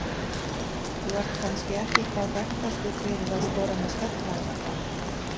Þú ert kannski ekki hvað þekktastur fyrir að skora með skalla eða hvað?